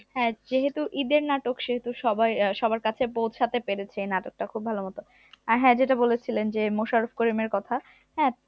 হ্যাঁ যেহেতু ঈদের নাটক সেহেতু সবাই আহ সবার কাছে পৌঁছাতে পেরেছে এই নাটকটা খুব ভালো মতো আর হ্যাঁ যেটা বলেছিলেন যে মোশারফ করিমের কথা হ্যাঁ